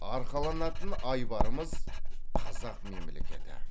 арқаланатын айбарымыз қазақ мемлекеті